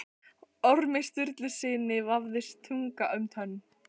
Ormi Sturlusyni vafðist tunga um tönn.